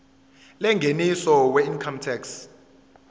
yengeniso weincome tax